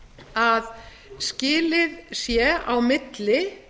að skilið sé á milli